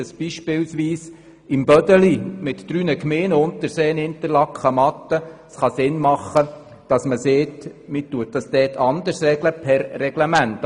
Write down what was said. Zum Beispiel könnte es auf dem «Bödeli» mit den drei Gemeinden Interlaken, Unterseen und Matten Sinn machen, dass man die Dauer dort anders regelt.